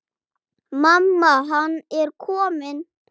Mamma, hann er kominn!